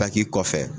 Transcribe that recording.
kɔfɛ